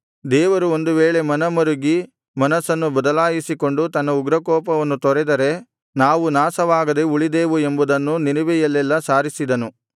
ದೇವರು ಒಂದು ವೇಳೆ ಮನಮರುಗಿ ಮನಸ್ಸನ್ನು ಬದಲಾಯಿಸಿಕೊಂಡು ತನ್ನ ಉಗ್ರಕೋಪವನ್ನು ತೊರೆದರೆ ನಾವು ನಾಶವಾಗದೆ ಉಳಿದೇವು ಎಂಬುದನ್ನು ನಿನೆವೆಯಲ್ಲೆಲ್ಲಾ ಸಾರಿಸಿದನು